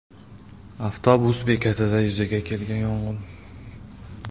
Avtobus bekatida yuzaga kelgan yong‘in.